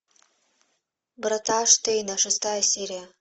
врата штейна шестая серия